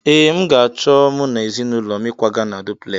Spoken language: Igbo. Ee, m ga-acho mu na ezinulo m ịkwaga a dupulesi